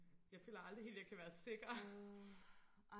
Jeg føler aldrig helt jeg kan være sikker